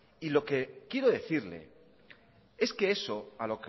y lo que quiero decirle es que eso a